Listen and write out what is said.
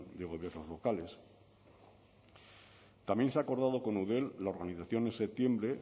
de gobiernos locales también se ha acordado con eudel la organización en septiembre